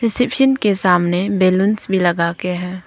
Reception के सामने balloons भी लगा के है।